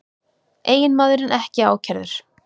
Eiginmaðurinn ekki ákærður